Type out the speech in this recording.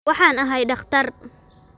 Waxaan ahay dhakhtar